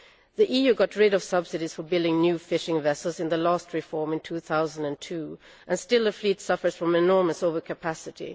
The EU got rid of subsidies for building new fishing vessels in the last reform in 2002, and still the fleet suffers from enormous over capacity.